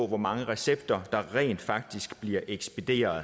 hvor mange recepter der rent faktisk bliver ekspederet